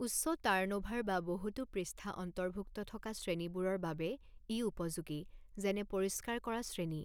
উচ্চ টাৰ্ণঅ'ভাৰ বা বহুতো পৃষ্ঠা অন্তৰ্ভুক্ত থকা শ্ৰেণীবোৰৰ বাবে ই উপযোগী, যেনে পৰিষ্কাৰ কৰা শ্ৰেণী।